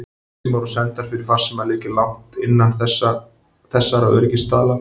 Farsímar og sendar fyrir farsíma liggja langt innan þessara öryggisstaðla.